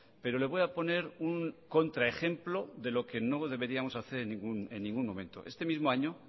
pero le voy a poner un contraejemplo de lo que no deberíamos hacer en ningún momento este mismo año